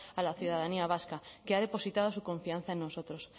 a la ciudadanía vasca que ha depositado su confianza en nosotros